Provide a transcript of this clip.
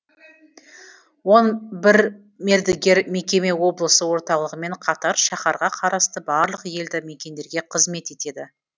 он бір мердігер мекеме облыс орталығымен қатар шаһарға қарасты барлық елді мекендерге қызмет етеді